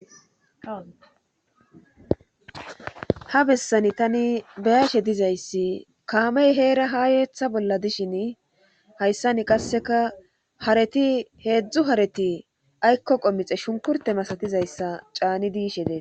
ha bessani tani beyaashe dizayssi kaamey heera ha yeetha bolla dishin hayssani qasseka hareti heedzdzu hareti aykko qommixe shunkurte masatizayssa caani diishe dee